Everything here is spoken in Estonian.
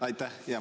Aitäh!